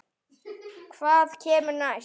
Hvað kemur næst?